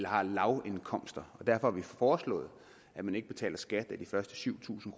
har lavindkomster og derfor har vi foreslået at man ikke betaler skat af de første syv tusind